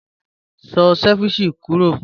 Sọ̀ cẹ̀víchẹ̀ kúrọ́